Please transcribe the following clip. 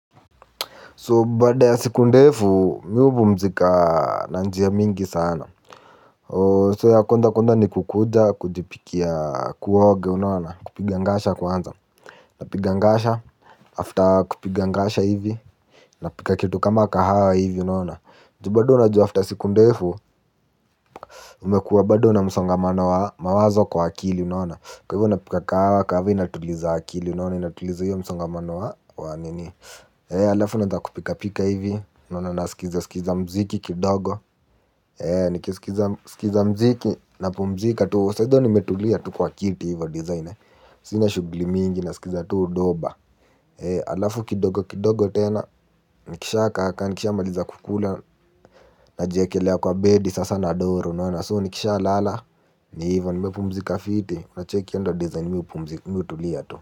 So baada ya siku ndefu mimi hupumzika na njia mingi sana, So ya kwanza, kwanza nikukuja kujipikia, kuoga unaona kupiga ngasha kwanza. Napiga ngasha after kupiga ngasha hivi, napika kitu kama kahawa hivi unaona. Ju bado unajua after siku ndefu umekuwa bado na msongamano wa mawazo kwa akili unaona, kwa hivyo napika kahawa kwanza inatuliza akili unaona inatuliza hiyo msongamano wa wanini ee alafu naanza kupika pika hivi, unaona nasikiza mziki kidogo, ee nikisikiza mziki na pumzika tu sahizo nimetulia tu kwa kiti hivo design, sina shughuli mingi nasikiza tu doba ee alafu kidogo kidogo tena. Nikisha kakaa nikisha maliza kukula. Najiekelea kwa bedi sasa nadoro, unaona nikisha lala. Ni hivo nimepumzika fiti, unacheki hiyo ndo design mimi hutulia tu.